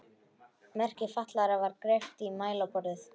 Merki fatlaðra var greypt í mælaborðið.